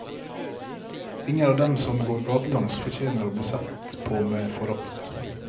Ingen av dem som går gatelangs fortjener å bli sett på med forakt.